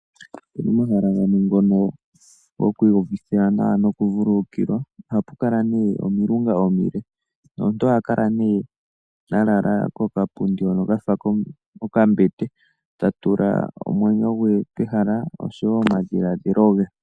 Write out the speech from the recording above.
Momahala gamwe ngono gokwiiyuvithila nawa nokuvululukilwa ohapu kala omilunga omile nomuntu oha kala nee a lala kokapundi hono ka fa okambete ta tula omwenyo gwe pehala oshowo omadhiladhilo ge.